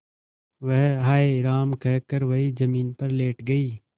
वह हाय राम कहकर वहीं जमीन पर लेट गई